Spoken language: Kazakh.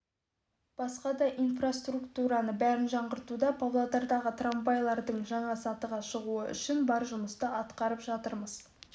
басқа да инфраструктураның бәрін жаңғыртуға павлодардағы трамвайлардың жаңа сатыға шығуы үшін бар жұмысты атқарып жатырмыз